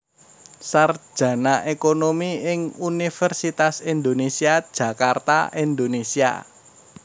Sarjana Ekonomi ing Universitas Indonésia Jakarta Indonésia